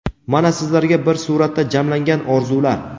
mana sizlarga bir suratda jamlangan orzular.